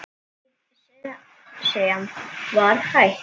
Ég sem var hætt.